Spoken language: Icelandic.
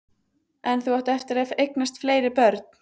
En þú átt eftir að eignast fleiri börn.